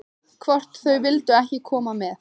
Hvort þau vildu ekki koma með?